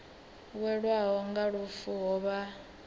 welwaho nga lufu ho vha